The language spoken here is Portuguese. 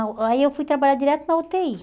não, Aí eu fui trabalhar direto na u tê i.